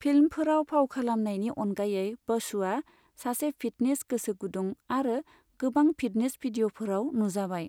फिल्मफोराव फाव खालामनायनि अनगायै बसुआ सासे फिटनेस गोसोगुदुं आरो गोबां फिटनेस भिदिअफोराव नुजाबाय।